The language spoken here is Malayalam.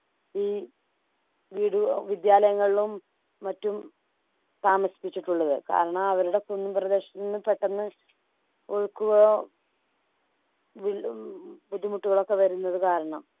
ഈ വീട് അഹ് വിദ്യാലയങ്ങളിലും മറ്റും താമസിപ്പിച്ചിട്ടുള്ളത് കാരണം അവരുടെ കുന്നുപ്രദേശത്ത്ന്നു പെട്ടന്ന് ഒഴുക്കുകളോ വില്ലും ബുദ്ധിമുട്ടുകളൊക്കെ വരുന്നത് കാരണം